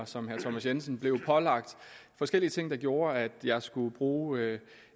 som herre thomas jensen blev pålagt forskellige ting der gjorde at jeg skulle bruge